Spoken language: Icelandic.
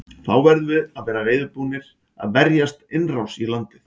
Þá verðum við að vera reiðubúnir að verjast innrás í landið.